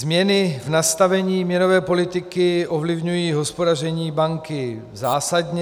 Změny v nastavení měnové politiky ovlivňují hospodaření banky zásadně.